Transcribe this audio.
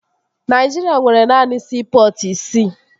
Naịjirịa nwere naanị siipọtụ isii